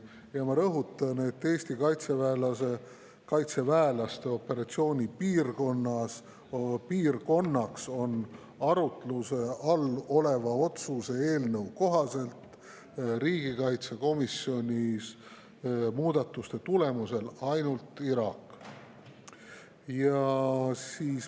Ja ma rõhutan, et Eesti kaitseväelaste operatsioonipiirkond on arutluse all oleva otsuse eelnõu kohaselt riigikaitsekomisjonis tehtud muudatuste tulemusel ainult Iraak.